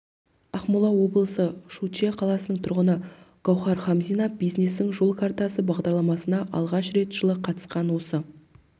ақмола облысы шучье қаласының тұрғыны гауһар хамзина бизнестің жол картасы бағдарламасына алғаш рет жылы қатысқан осы